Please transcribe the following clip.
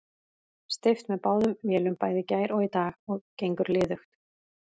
Steypt með báðum vélum bæði í gær og í dag, gengur liðugt.